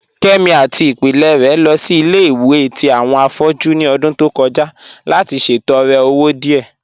Kẹmi àti ìpílẹ̀ rẹ̀ lọ sí ilẹ̀-ìwẹ̀ tì awọn afọ̀jú ní ọ̀dún tó kọja láti ṣètọ̀rẹ̀ ọwọ̀ díẹ.